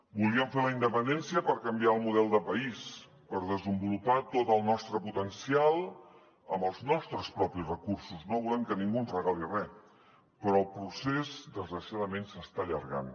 volíem fer la independència per canviar el model de país per desenvolupar tot el nostre potencial amb els nostres propis recursos no volem que ningú ens regali res però el procés desgraciadament s’està allargant